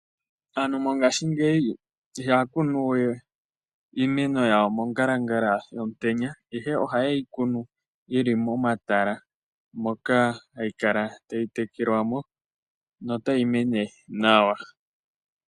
Aantu mongashingeyi ihaya kunu we iimeno yawo mongalangala yomutenya, ihe ohaye yi kunu yi li momatala moka hayi kala tayi tekelelwa mo notayi mene nawa.